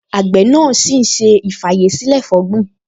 Àgbẹ̀ náà ṣì ń ṣe ì-fàyèsílẹ̀-fọ̀gbin